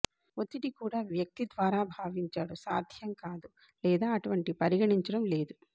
ఒత్తిడి కూడా వ్యక్తి ద్వారా భావించాడు సాధ్యం కాదు లేదా అటువంటి పరిగణించడం లేదు